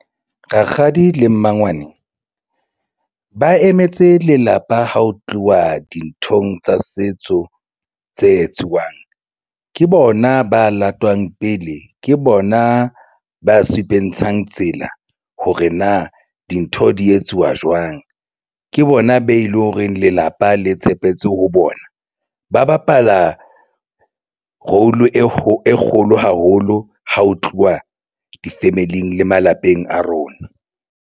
Rakgadi le mmangwane ba emetse lelapa ha ho tluwa dinthong tsa setso tse etsuwang ke bona ba latwang pele ke bona ba supentshang tsela hore na dintho di etsuwa jwang ke bona be leng hore lelapa le tshepetse ho bona. Ba bapala role e kgolo haholo ha ho tluwa di-family-ing le malapeng a rona.